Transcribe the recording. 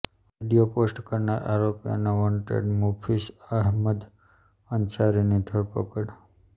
video post કરનાર આરોપી અને વોન્ટેડ મુફીસ અહેમદ અંસારીની ધરપકડ